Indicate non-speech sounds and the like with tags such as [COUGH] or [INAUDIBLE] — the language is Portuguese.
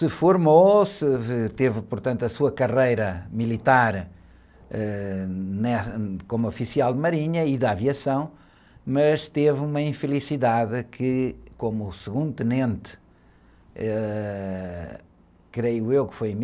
Se formou, [UNINTELLIGIBLE] teve portanto a sua carreira militar, ãh, né? Como oficial de marinha e da aviação, mas teve uma infelicidade que, como o segundo tenente, ãh, creio eu que foi em mil novecentos e trinta e dois,